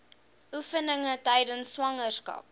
oefeninge tydens swangerskap